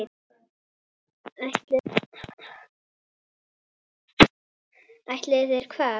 Ætluðu þeir hvað?